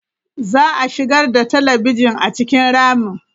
Za a shigar da talabijin a cikin ramin.